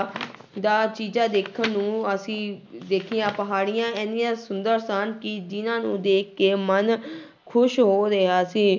ਦਾ ਚੀਜ਼ਾਂ ਦੇਖਣ ਨੂੰ ਅਸੀਂ ਦੇਖੀਆਂ ਪਹਾੜੀਆਂ ਇੰਨੀਆਂ ਸੁੰਦਰ ਸਨ ਕਿ ਜਿਹਨਾਂ ਨੂੂੰ ਦੇਖ ਕੇ ਮਨ ਖ਼ੁਸ਼ ਹੋ ਰਿਹਾ ਸੀ।